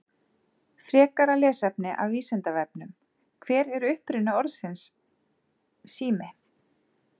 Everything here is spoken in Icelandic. Frekara lesefni af Vísindavefnum: Hver er uppruni orðsins sími?